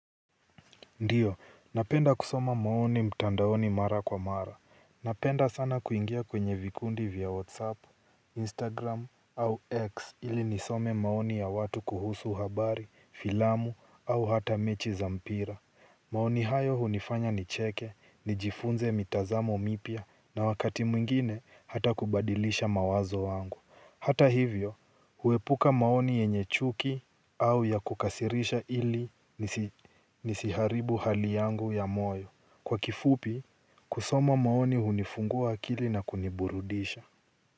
Ndiyo, napenda kusoma maoni mtandaoni mara kwa mara. Napenda sana kuingia kwenye vikundi vya whatsapp instagram au X ili nisome maoni ya watu kuhusu habari, filamu au hata mechi za mpira. Maoni hayo hunifanya nicheke, nijifunze mitazamo mipya na wakati mwingine hata kubadilisha mawazo wangu. Hata hivyo, huepuka maoni yenye chuki au ya kukasirisha ili nisiharibu hali yangu ya moyo. Kwa kifupi, kusoma maoni hunifungua akili na kuniburudisha.